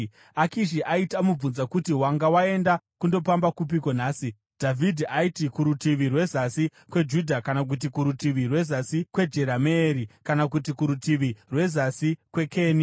Akishi aiti amubvunza kuti, “Wanga waenda kundopamba kupiko nhasi?” Dhavhidhi aiti, “Kurutivi rweZasi kweJudha kana kuti kurutivi rweZasi kweJerameeri kana kuti kurutivi rweZasi kweKeni.”